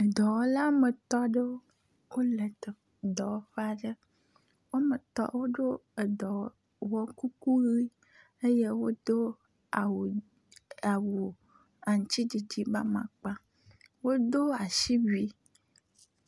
Dɔwɔla wɔme etɔ̃ aɖewo le teƒe aɖe. Wɔme etɔ̃ woɖo edɔwɔkuku ʋi eye wodo awu awu aŋtsiɖiɖi ƒe amakpa. Wodo asiwui.